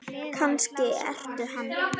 Kannski ertu hann?